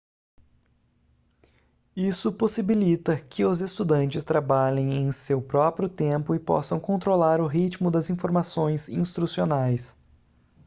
isso possibilita que os estudantes trabalhem em seu próprio tempo e possam controlar o ritmo das informações instrucionais